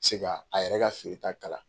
Se ka a yɛrɛ ka feereta kala.